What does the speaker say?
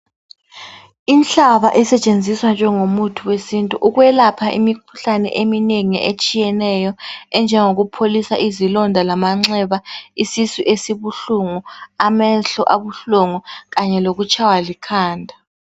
Inhlaba esetshenziswa njengomuthi wesintu ukwelapha imikhuhlane eminengi etshiyeneyo, enjengokupholisa izilonda lamanxeba, isisu esibuhlungu, amehlo abuhlungu kanye lokutshaywa likhanda.